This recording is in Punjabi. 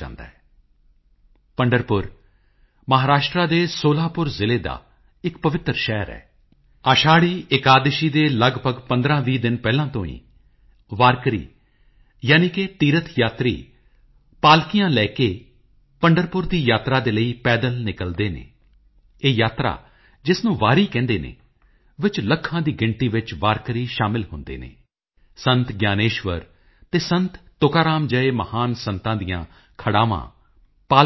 ਜਿਸ ਤਰ੍ਹਾਂ ਕੇਲੇ ਦੇ ਤਣੇ ਨੂੰ ਛਿੱਲਿਆ ਜਾਏ ਤਾਂ ਪੱਤੇ ਹੇਠਾਂ ਪੱਤਾ ਫਿਰ ਪੱਤੇ ਹੇਠਾਂ ਪੱਤਾ ਅਤੇ ਅੰਤ ਵਿੱਚ ਕੁਝ ਨਹੀਂ ਨਿਕਲਦਾ ਪਰ ਪੂਰਾ ਰੁੱਖ ਖਤਮ ਹੋ ਜਾਂਦਾ ਹੈ ਠੀਕ ਉਸੇ ਤਰ੍ਹਾਂ ਇਨਸਾਨ ਨੂੰ ਵੀ ਜ਼ਾਤਾਂ ਵਿੱਚ ਵੰਡ ਦਿੱਤਾ ਗਿਆ ਹੈ ਅਤੇ ਇਨਸਾਨ ਰਿਹਾ ਹੀ ਨਹੀਂ ਉਹ ਕਿਹਾ ਕਰਦੇ ਸਨ ਕਿ ਜੇਕਰ ਹਕੀਕਤ ਚ ਭਗਵਾਨ ਹਰ ਇਨਸਾਨ ਵਿੱਚ ਹੁੰਦਾ ਹੈ ਤਾਂ ਉਨ੍ਹਾਂ ਨੂੰ ਜਾਤ ਪੰਥ ਅਤੇ ਹੋਰਨਾਂ ਸਮਾਜਿਕ ਅਧਾਰਾਂ ਉੱਪਰ ਵੰਡਣਾ